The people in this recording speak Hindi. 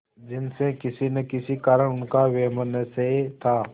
जिनसे किसी न किसी कारण उनका वैमनस्य था